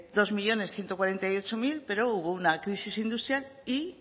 dos millónes ciento cuarenta y ocho mil pero hubo una crisis industrial y